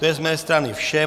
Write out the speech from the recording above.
To je z mé strany vše.